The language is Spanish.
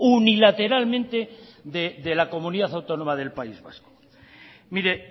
unilateralmente de la comunidad autónoma del país vasco mire